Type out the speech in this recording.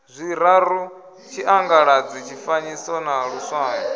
zwiraru tshiangaladzi tshifanyiso na luswayo